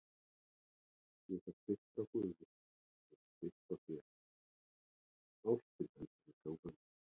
Ég fæ styrk frá guði, ég fæ styrk frá þér, ástin heldur mér gangandi.